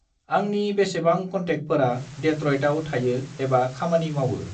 आंनि बेसेबां कन्टेकफोरा डेट्रइटाव थायो एबा खामानि मावो?